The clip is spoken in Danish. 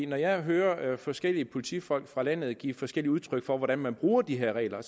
når jeg hører forskellige politifolk fra landet give forskelligt udtryk for hvordan man bruger de her regler